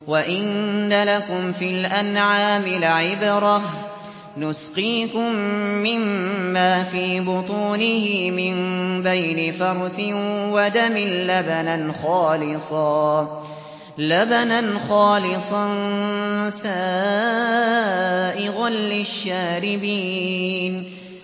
وَإِنَّ لَكُمْ فِي الْأَنْعَامِ لَعِبْرَةً ۖ نُّسْقِيكُم مِّمَّا فِي بُطُونِهِ مِن بَيْنِ فَرْثٍ وَدَمٍ لَّبَنًا خَالِصًا سَائِغًا لِّلشَّارِبِينَ